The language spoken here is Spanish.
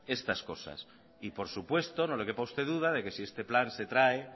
estas cosas y por supuesto no le quepa a usted duda de que si este plan se trae